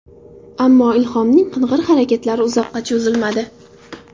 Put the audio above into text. Ammo, Ilhomning qing‘ir harakatlari uzoqqa cho‘zilmadi.